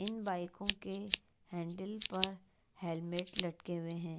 इन बाईकों के हैंडल पर हेलमेट लटके हुएं हैं।